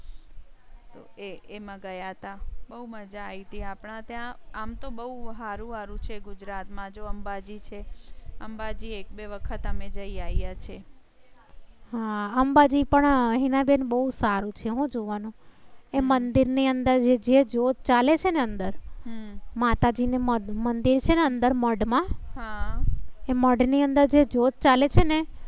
હા અંબાજી પણ આ હિનાબેન બહુ સારું છે. હું જોવા નું એ મંદિર ની અંદર જે જ્યોત ચાલે છે અંદર માતાજી નું મંદિર છે. અંદર મઢ માં મઢ ની અંદર જે જ્યોત ચાલે છે ને